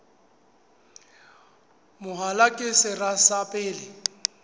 mahola ke sera sa pele